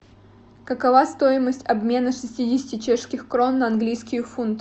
какова стоимость обмена шестидесяти чешских крон на английские фунты